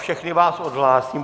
Všechny vás odhlásím.